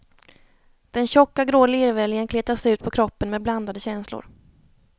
Den tjocka grå lervällingen kletas ut på kroppen med blandade känslor.